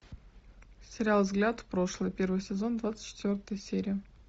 сериал взгляд в прошлое первый сезон двадцать четвертая серия